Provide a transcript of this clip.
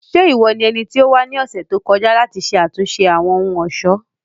Ṣe iwọ ni ẹniti o wa ni ọsẹ to kọja lati ṣe atunṣe Awọn ohun-ọṣọ?